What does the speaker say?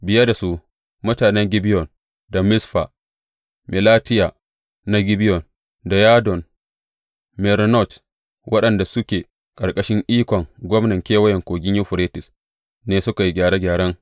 Biye da su, mutanen Gibeyon da Mizfa Melatiya na Gibeyon da Yadon Meronot waɗanda suke ƙarƙashin ikon gwamnan Kewayen Kogin Yuferites ne suka yi gyare gyaren.